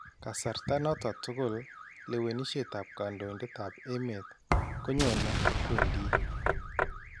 Kasarta noton tukul , lewenisyeetab kandoindet ab emeet konyonee akwendii